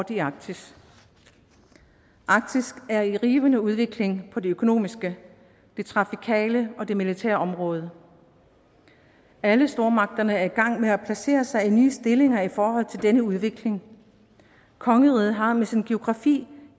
i arktis arktis er i rivende udvikling på det økonomiske det trafikale og det militære område alle stormagterne er i gang med at placere sig i nye stillinger i forhold til denne udvikling kongeriget har med sin geografi